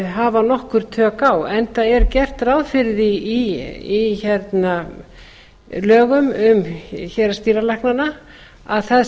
hafa nokkur tök á enda er gert ráð fyrir því í lögum um héraðsdýralæknana að það